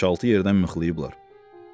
Beş-altı yerdən mıxlayıblar.